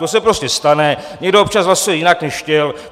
To se prostě stane, někdo občas hlasuje jinak, než chtěl.